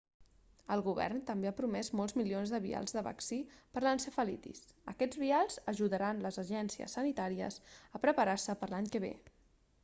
el govern també ha promès molts milions de vials de vaccí per l'encefalitis aquests vials ajudaran les agències sanitàries a preparar-se per l'any que ve